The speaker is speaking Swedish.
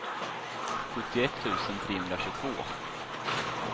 sjuttioett tusen trehundratjugotvå